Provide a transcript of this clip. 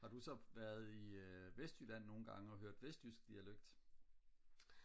har du så været i vestjylland nogengange og hørt vestjysk dialekt